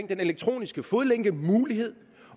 den elektroniske fodlænke